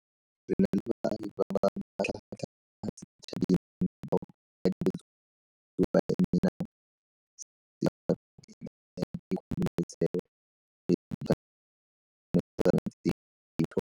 Re na le baagi ba ba matlhagatlhaga mo setšhabeng bao ka dinako tsotlhe ba emeng sejaro go emelela dikgololesego le ditshwanelo tsa rona tse di botlhokwa.